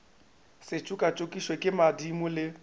se tšokatšokišwe ke madimo le